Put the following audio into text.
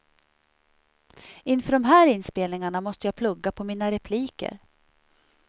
Inför de här inspelningarna måste jag plugga på mina repliker.